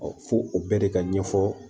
fo o bɛɛ de ka ɲɛfɔ